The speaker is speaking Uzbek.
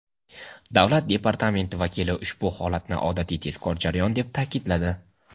Davlat Departamenti vakili ushbu holatni odatiy tezkor jarayon deb ta’kidladi.